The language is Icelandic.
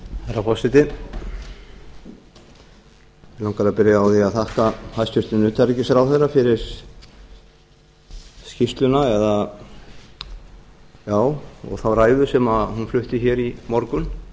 herra forseti mig langar að byrja á því að þakka hæstvirtum utanríkisráðherra fyrir skýrsluna og ræðu sem hún flutti hér í morgun